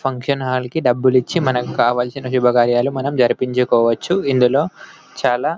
function hall కి డబ్బులు ఇచ్చి మనకు కావాల్సిన శుభకార్యాలు మనం జరిపించవచ్చు ఇందులో చాలా --